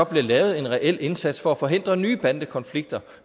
bliver lavet en reel indsats for at forhindre nye bandekonflikter